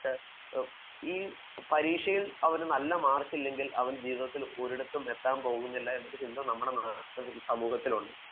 ഈ പരീക്ഷയിൽ നല്ല മാർക്കില്ലെങ്കിൽ അവൻ ജീവിതത്തിൽ ഒരിടത്തും എത്താൻ പോകുന്നില്ല എന്ന ചിന്ത നമ്മുടെ സമൂഹത്തിൽ ഉണ്ട്